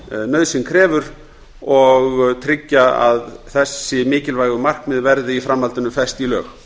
nauðsyn krefur og tryggja að þessi mikilvægu markmið verði í framhaldinu fest í lög